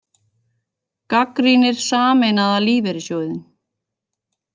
Gagnrýnir Sameinaða lífeyrissjóðinn